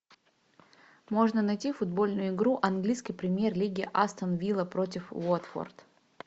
можно найти футбольную игру английской премьер лиги астон вилла против уотфорд